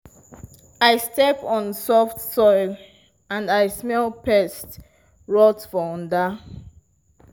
i step on soft soil and i smell pest rot for under.